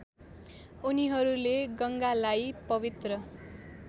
उनीहरूले गङ्गालाई पवित्र